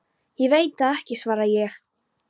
Ég veit það ekki svaraði ég.